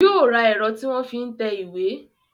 Yóò ra ẹ̀rọ tí wọ́n fi ń tẹ ìwé